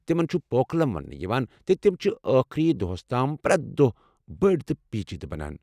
تِمَن چھُ پوکلم وننہٕ یِوان تہٕ تِم چھِ ٲخری دۄہَس تام پرٮ۪تھ دۄہ بٔڑِ تہٕ پیچیدٕ بنان۔